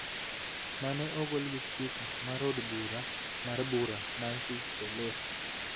mane ogol gi spika mar od bura mar bura, Nancy Pelosi